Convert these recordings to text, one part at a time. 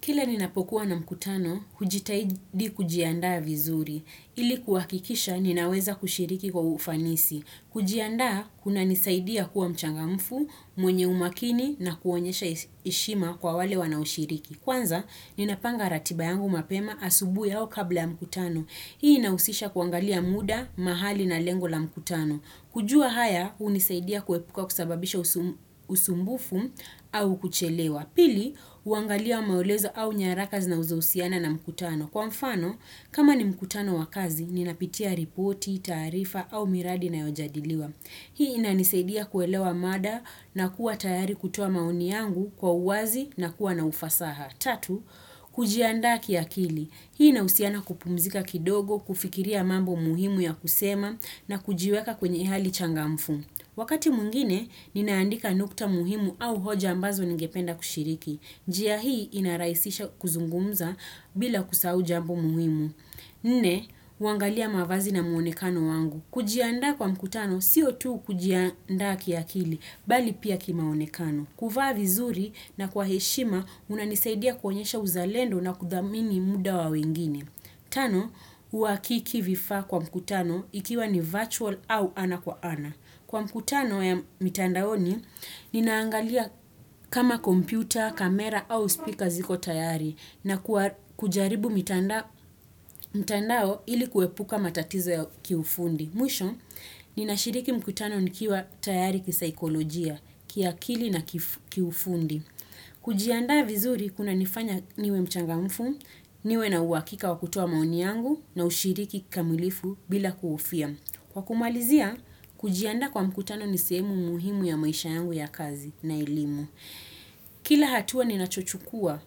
Kila ninapokuwa na mkutano, hujitahidi kujiandaa vizuri. Ili kuhakikisha, ninaweza kushiriki kwa ufanisi. Kujiandaa, kunanisaidia kuwa mchangamfu, mwenye umakini na kuonyesha heshima kwa wale wanaoshiriki. Kwanza, ninapanga ratiba yangu mapema asubuhi ya kabla ya mkutano. Hii inahusisha kuangalia muda, mahali, na lengo la mkutano. Kujua haya, hunisaidia kuepuka kusababisha usumbufu au kuchelewa. Pili, uangalia maelezo au nyaraka zinazohusiana na mkutano. Kwa mfano, kama ni mkutano wa kazi, ninapitia ripoti, taarifa au miradi na inayojadiliwa. Hii inanisaidia kuelewa mada na kuwa tayari kutoa maoni yangu kwa uwazi na kuwa na ufasaha. Tatu, kujiandaa kiakili. Hii inahusiana kupumzika kidogo, kufikiria mambo muhimu ya kusema na kujiweka kwenye hali changamfu. Wakati mwingine, ninaandika nukta muhimu au hoja ambazo ningependa kushiriki. Njia hii inarahisisha kuzungumza bila kusahau jambo muhimu. Nne, huangalia mavazi na muonekano wangu. Kujiandaa kwa mkutano, sio tu kujiandaa kiakili, bali pia kimaonekano. Kuvaa vizuri na kwa heshima, unanisaidia kuonyesha uzalendo na kudhamini muda wa wengine. Tano, uhakiki vifaa kwa mkutano ikiwa ni virtual au ana kwa ana. Kwa mkutano ya mitandaoni, ninaangalia kama kompyuta, kamera au spika ziko tayari na kujaribu mitandao ili kuepuka matatizo ya kiufundi. Mwisho, ninashiriki mkutano nikiwa tayari kisaikolojia, kiakili na kiufundi. Kujiandaa vizuri kunanifanya niwe mchangamfu, niwe na uhakika wakutoa maoni yangu na ushiriki kamilifu bila kuhofia. Kwa kumalizia, kujiandaa kwa mkutano nisehemu muhimu ya maisha yangu ya kazi na elimu. Kila hatua ninachochukua,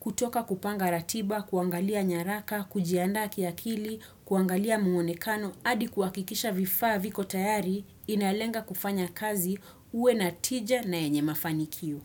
kutoka kupanga ratiba, kuangalia nyaraka, kujiandaa kiakili, kuangalia muonekano, hadi kuhakikisha vifaa viko tayari inalenga kufanya kazi uwe na tija na yenye mafanikio.